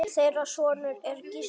Þeirra sonur er Gísli Fannar.